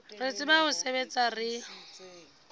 re tsebang ho sebetsa re